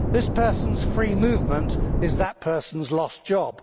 This person's free movement is that person's lost job.